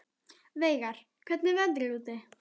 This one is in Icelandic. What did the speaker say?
Veigar, hvernig er veðrið úti?